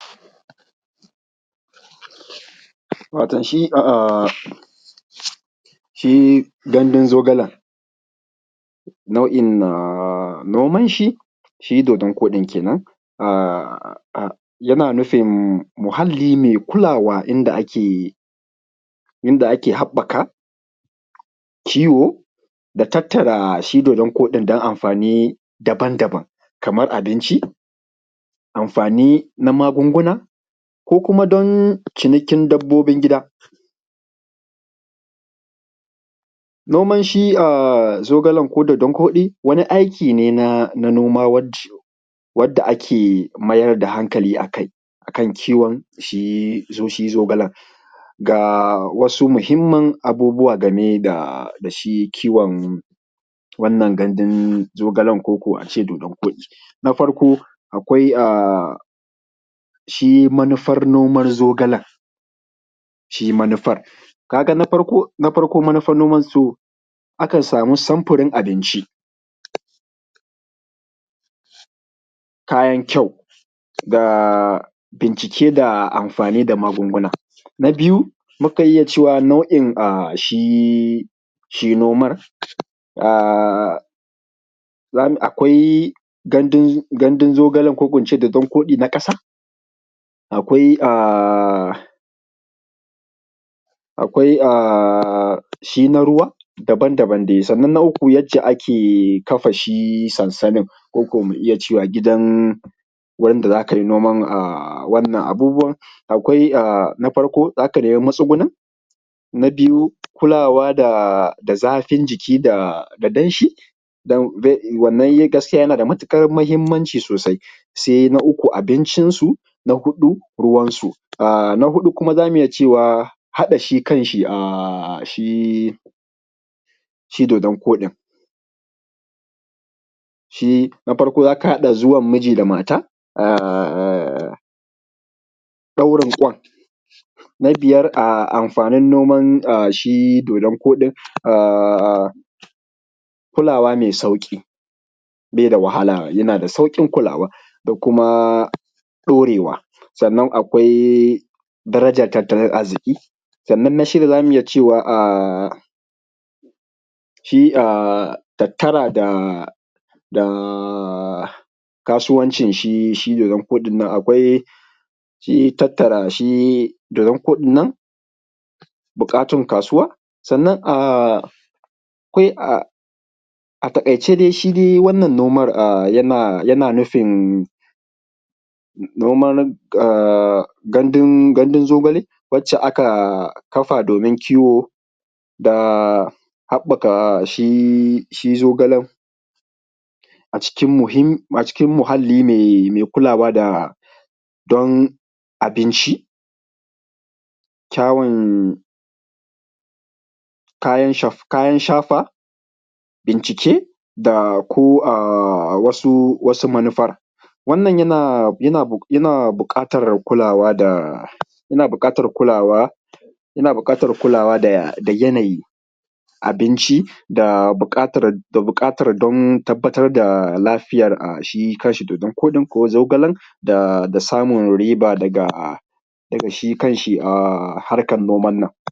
Watan shi shi gandun zogalan na’uin noma ne shi dodon koɗin kenan yana nufin muhalli mai kulawa inda ake haɓɓaka kiwo da tattara shi, dodon koɗin dan amfani daban-daban ko abinci, amfani na magunguna ko kuma dan cinikin dabbobin gida. Noman shi zogalen ko dodon koɗi wani aiki ne na noma wanda ake mayar da hankali akai akan kiwon shi zogalen ga wasu mahimmar abubuwa game da shi kiwon wannan gandun zogalen, ko ko a ce dodon koɗi na farko akwai shi manufar noman zogalen ka ga shi manufar na farko manufan nomansu, akan samun sumfurin abinci, kayan kyau ga bincike ga amfani da magunguna. Na biyu mukan iya cewa nau’in shi nomar akwai gandun zogalen koko in ce dodon koɗi na ƙasa akwai shi na ruwa daban-daban dai sannan na uku yac ce ake kafa shi sansamin koko mu iya cewa gidan wanda za ka iya yin noman wannan abun, akwai na farko za ka nemi matsugnin na biyu kulawa da zafin jiki da danshi wannan gaskiya yana da matukar mahimmanci sosai sai na uku abincinsu, na huɗu ruwansu na huɗu kuma za mu iya cewa haɗa shi kanshi shi dodon koɗin shi na farko za ka haɗa zumar miji da mata a ɗaurin kwai na biyar amfanin noman shi dodon koɗin, a kulawa mai sauki bai da wahala yana da sauƙin kulawa da kuma ɗaurewa sannan akwai darajar tattalin arziki, sannan na shida za mu iya cewa akwai shi a tattara da kasuwancin shi dodon koɗin nan akwai tattara shi dodon koɗin nan buƙatun kasuwa sannan akwai a taƙaice dai shi dai wannan noman yana nufin noman gandun zogale wacce aka kafa domin kiwo da haɓɓaka shi zogalen a cikin muhalli mai kulawa da don abin shi kyawun kayan shafa jiki da kuma wasu manufa wannan yana buƙatar kulawa da yanayi, abinci da buƙatar domin tabbatar da lafiyanshi, shi kanshi dodon koɗin ko zogalen da samu riban daga shi kanshi harkan noman nan.